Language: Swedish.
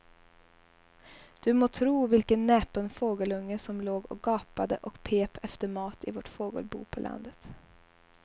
Du må tro vilken näpen fågelunge som låg och gapade och pep efter mat i vårt fågelbo på landet.